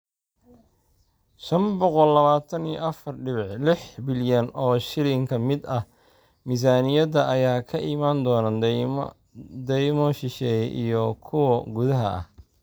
Shaan boqol labatan iyo afar dibic lix bilyan oo shilin ka mid ah miisaaniyadda ayaa ka imaan doona deymo shisheeye iyo kuwo gudaha ah.